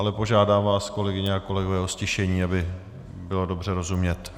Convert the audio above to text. Ale požádám vás, kolegyně a kolegové, o ztišení, aby bylo dobře rozumět.